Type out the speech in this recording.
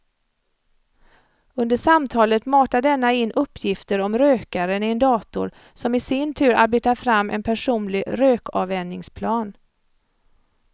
Under samtalet matar denna in uppgifter om rökaren i en dator som i sin tur arbetar fram en personlig rökavvänjningsplan.